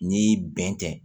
N'i bɛn kɛ